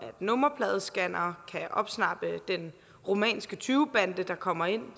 nummerpladescannere kan opsnappe den rumænske tyvebande der kommer ind